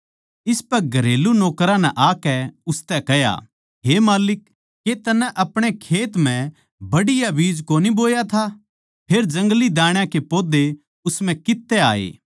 इसपै घरेलू नौकरां नै आकै उसतै कह्या हे माल्लिक के तन्नै अपणे खेत म्ह बढ़िया बीज कोनी बोया था फेर जंगली दाण्या के पौधे उस म्ह कित्त तै आए